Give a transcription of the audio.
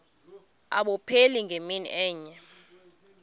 abupheli ngemini enye